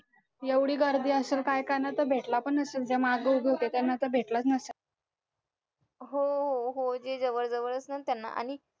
एवढी गर्दी असेल काय करणार तर भेटला पण नसेल जे मागे उभे होते त्यांना तर भेटलाच नसेल